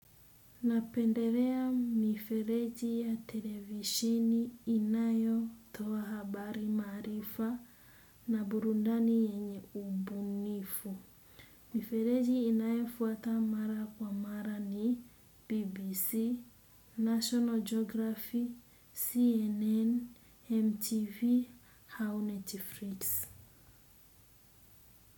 Napenderea mifereji ya televisheni inayotoa habari maarifa na burundani yenye ubunifu. Mifereji inayefuata mara kwa mara ni BBC, National Geography, CNN, MTV, ha netifrix.